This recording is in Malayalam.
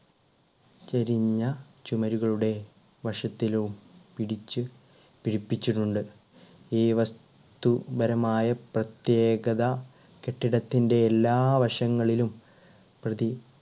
ചെരിഞ്ഞ ചുമരുകളുടെ വശത്തിലും പിടിച്ച് പിടിപ്പിച്ചിട്ടുണ്ട് ഈ വസ്തുപരമായ പ്രത്യേകത കെട്ടിടത്തിന്റെ എല്ലാ വശങ്ങളിലും പ്രതി